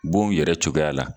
Bon yɛrɛ cogoya la